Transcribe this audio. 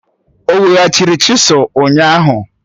O weghachiri chisụl ụnyahụ